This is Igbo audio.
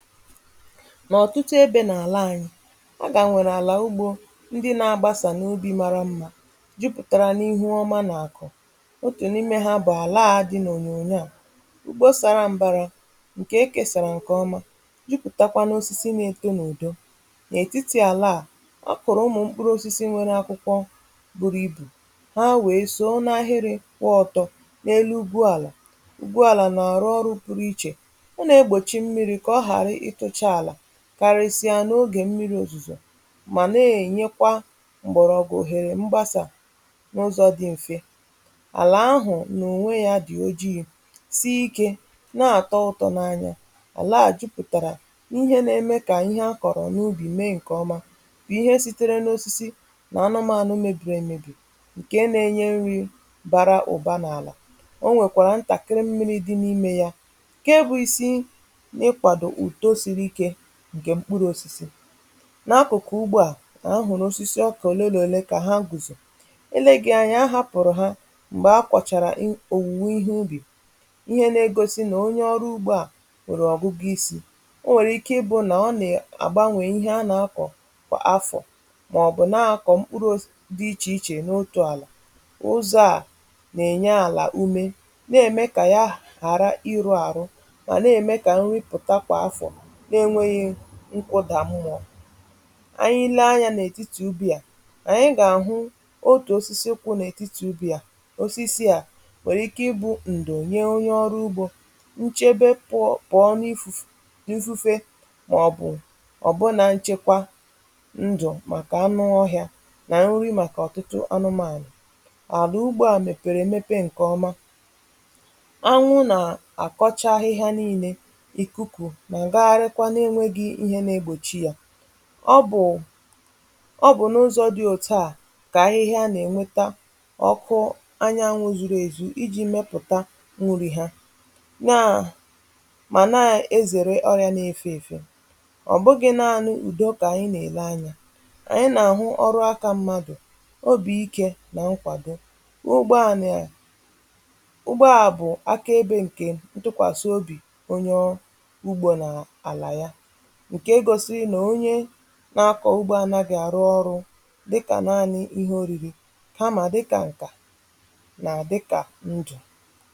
N'ọ̀tụtụ ebe n’àla anyị̇, a ka nwèrè àlà ugbȯ, ndị na-agbasà n’ubi mara mmȧ jupụ̀tàrà n’ihu ọma n’àkụ. Otù n’ime ha bụ̀ àla ȧ dị̇ n’ònyònyo à. ugbo sara mbara, ǹkè ekesàrà ǹkè ọma, jupụ̀takwa n’osisi na-eto n’ùdo. N'ètitì àla a ọ kụ̀rụ̀ ụmụ̀ mkpụrụ̇ osisi nwere akwụkwọ bụ̀rụ̀ ibù, ha wèe so nà ahịrị̇ kwụọ ọ̀tọ̀ n’elu ugwuàlà. Ugwuàlà nà-àrụ ọrụ pụrụ ichè, ọ na-egbochi mmiri ka ọ hapụ i tosi ala karịsịa n’ogè mmiri̇ òzùzò mà na-ènyekwa m̀gbọ̀rọ̀gwụ̀ òhèrè mgbasà n’ụzọ̇ dị m̀fe. Alà ahụ̀ n'ònwe yȧ dị̀ ochie, sịi ikė na-àtọ ụ̇tọ̇ n’anya. Alà a jupụtàrà ihe na-eme kà ihe akọ̀rọ̀ n’ubì mee ǹkè ọma bụ̀ ihe sitere n’osisi nà anụmȧnụ mebìrì emebì ǹke na-enye nri bara ụ̀ba n’àlà o nwèkwàrà ntàkịrị mmiri̇ dị n’imė yȧ ǹkè bụ̀ isi ị kwado ugo siri ike nke mkpụrụ̇ osisi. N'akụ̀kụ̀ ugbo à ka ahụ̀rụ osisi okà òle na òle kà ha gùzò. eleghi anya a hapụ̀rụ̀ ha m̀gbè akwàchàrà ihe òwùwè ihe ubì, ihe nȧ-egosi nà onye ọrụ̇ ugbo à nwèrè ọ̀gụgụ isi̇. O nwèrè ike ị bụ̇ nà ọ nà-àgbanwè ihe a nà-akọ̀ kwa afọ̀ màọ̀bụ̀ na-akọ̀ mkpụrụ̇ di ichè ichè n’otù àlà. Ụzọ̇ à nà-ènye àlà umė na-ème kà ya hàra ịrụ̇ àrụ mà na-ème kà nrịpụ̀ta kwa afọ̀ n’enwėghi̇ nkwụdà mmúọ̀. Anyị lee anyȧ n’etiti ubi à, anyị gà-àhụ otù osisi kwụ n’etiti ubi à. Osisi à nwèrè ike ịbụ̇ ǹdụ̀.nyere onye ọrụ ugbȯ nchebe pọ̀ọ pọ̀ọ n’ifu̇ n’ifu̇fe màọ̀bụ̀ ọ̀ bụ na nchekwa ndụ̀ màkà anụ ọhịȧ nà nri màkà ọ̀tụtụ anụmȧnụm Arà ugbȯ à mèpèrè èmepe ǹkè ọma, anwụ nà àkọcha ahịhȧ niilė, ikuku, i ju na-ewepụỌ bụ̀ ọ bụ̀ n’ụzọ̇ dị òtu à kà ahịhịa nà-ènweta ọkụ anyanwụ zuru èzu iji̇ mepụ̀ta nwuri ha. Nyaà mà naà ezèrè ọrịȧ na-efe èfe. Ọ bụghị̇ naȧnị ùdo kà ànyị nà-èle anyȧ, ànyị nà-àhụ ọrụakȧ mmadụ̀ obì ike nà nkwàdo. n’ugbo ànị̀ ugbo ahụ bụ aka ebe nke ntụkwasị obi onye ọrụ ugbo n'ala ya. Nke gosi n'onye na-akọ̇ ugbp anaghi àrụ ọrụ̇ dịkà naanị̇ ihe òrìrì kama dịkà ǹkà nà àdịkà ndụ̀